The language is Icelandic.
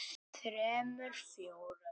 þremur. fjórum.